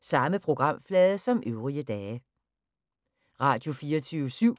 Radio24syv